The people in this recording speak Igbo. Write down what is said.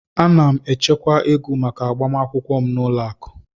Ana m echekwa ego maka agbamakwụkwọ m n'ụlọ akụ.